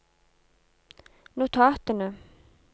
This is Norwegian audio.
notatene